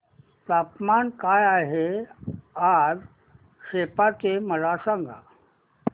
तापमान काय आहे आज सेप्पा चे मला सांगा